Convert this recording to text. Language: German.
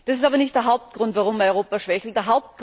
Das ist aber nicht der Hauptgrund, warum Europa schwächelt.